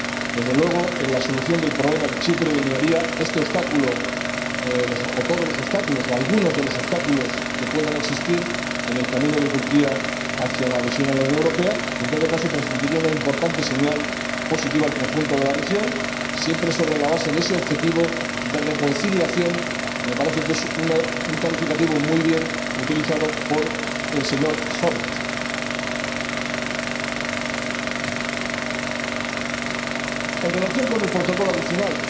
Desde luego, la solución del problema de Chipre eliminaría este obstáculo, o todos los obstáculos, o algunos de los obstáculos, que puedan existir en el camino de Turquía hacia la adhesión a la Unión Europea y, en todo caso, transmitiría una importante señal positiva al conjunto de la región, siempre sobre la base de ese objetivo de reconciliación —me parece que es un calificativo muy bien utilizado por el señor Howitt. En relación con el protocolo adicional,